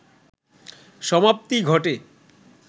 সমাপ্তি ঘটে